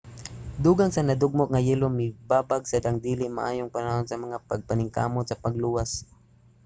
dugang sa nadugmok nga yelo mibabag sad ang dili maayong panahon sa mga pagpaningkamot sa pagluwas